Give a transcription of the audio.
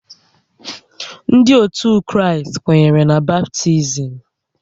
Ndị ótù Kraịst kwenyere na baptizim